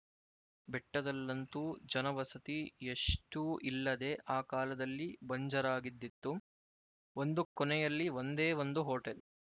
ಬೆಟ್ಟದಲ್ಲಂತೂ ಜನವಸತಿ ಎಷ್ಟೂ ಇಲ್ಲದೆ ಆ ಕಾಲದಲ್ಲಿ ಬಂಜರಾಗಿದ್ದಿತು ಒಂದು ಕೊನೆಯಲ್ಲಿ ಒಂದೇ ಒಂದು ಹೋಟೆಲ್